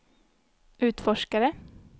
utforskare